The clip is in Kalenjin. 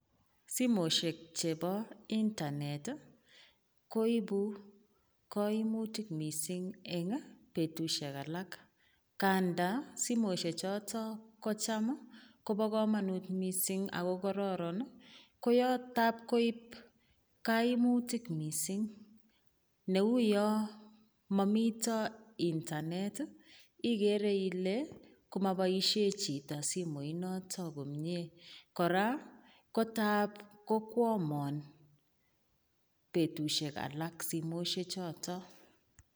Simoshek chebo internet ii, koibu kaimutik mising eng betusiek alak, ganda simoshe choto kocham kobo kamanut mising ako kororon ii, koyo tab koib kaimutik mising, neu yo momito internet ii ikere ile komaboisie chito simoinoto komie, kora kotab kokwomon betusiek alak simoshe choto.